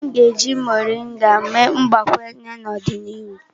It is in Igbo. A ga-eji Moringa mee mgbakwunye n'ọdịnihu.